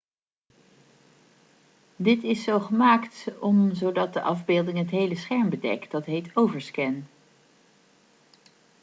dit is zo gemaakt om zodat de afbeelding het hele scherm bedekt dat heet overscan